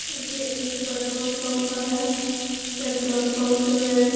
ये एक petrol pump है पेट्रोल पंप में --